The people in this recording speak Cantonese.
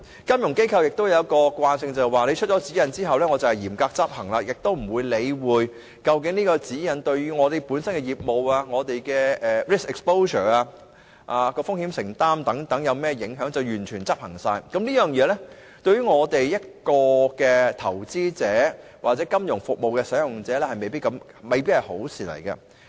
金融機構有一個特性，便是慣於嚴格執行政府當局發出的指引，不理會該指引對於其業務、所承擔的風險等有何影響，便全面執行，這對投資者或金融服務使用者來說，均未必是好事。